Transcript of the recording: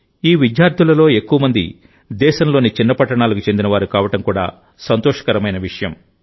ఈ విద్యార్థులలో ఎక్కువ మంది దేశంలోని చిన్న పట్టణాలకు చెందినవారు కావడం కూడా సంతోషకరమైన విషయం